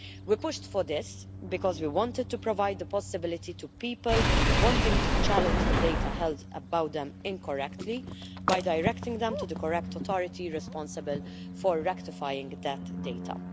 We pushed for this because we wanted to provide the possibility to people wanting to challenge the data held about them incorrectly, by directing them to the correct authority responsible for rectifying those data.